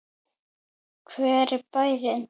Hver er bærinn?